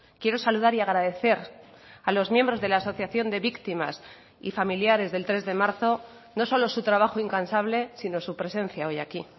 quiero saludar y agradecer a los miembros de la asociación de víctimas y familiares del tres de marzo no solo su trabajo incansable sino su presencia hoy aquí